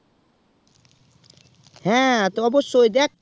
হ্যাঁ তো অবশ্যই দেখ